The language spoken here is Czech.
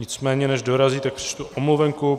Nicméně než dorazí, tak přečtu omluvenku.